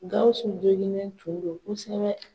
Gawusu joginnen tun do kosɛbɛ.